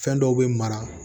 Fɛn dɔw bɛ mara